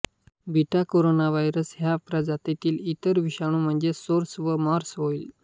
betacoronavirus ह्या प्रजातीतील इतर विषाणू म्हणजे सार्स व मार्स होय